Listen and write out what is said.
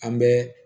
An bɛ